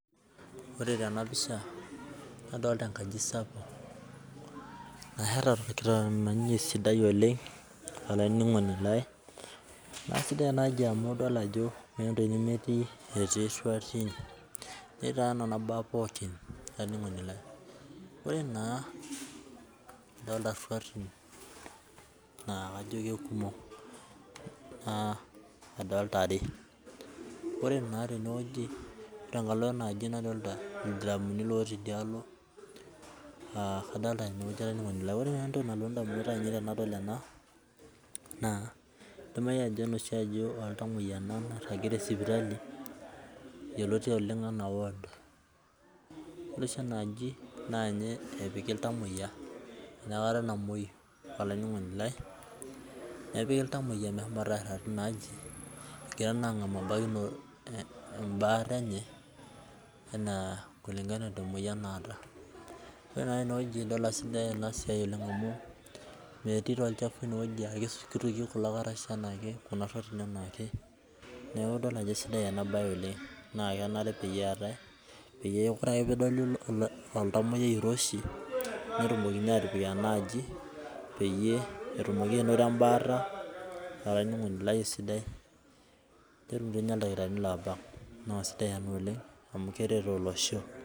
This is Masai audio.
Ore tenapisha nadolta enkaji sapuk nasheta torkitamanyunye sidai oleng olaininingoni lai na sidai enaaji amu meeta entoki nemetii etii ruatin netii nona baa pokin olaininingoni lai ore na adolta ruarin na kajo kekumok adolta are ore na tenkalo enaaji nadolta ldiramuni otii idialo aa kadollta, ore entoki nalotu ndamunot ainei tanadol ena na idimayu aa enoshi aji oltamoyia ena nairagi sipitali yioloti oleng ana ward yolo oshi enaaji na ninye epik ltamoyia enoshi kata namoyu olaininingoni lai nepiki ltamoyia meshomoita airag tinaaji egira atum embaate enye ana kulingana emoyian naata ore naa tenewueji idolta ajo Sidai enasia metii oclhafu inewueji akituki kulo karash anaake neaku idol ajo esidai enabae metaa ore ake pedoli oltamoyiai oiroshi netumokini atipik enaaji peyie etumoki ainoto embaata olaininingoni lai esidai netum ildakitarini obak na sidai ena amu keret olosho.